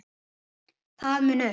það mun upp